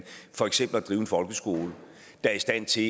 for eksempel at drive en folkeskole der er i stand til